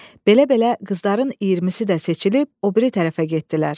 Belə-belə qızların iyirmisi də seçilib o biri tərəfə getdilər.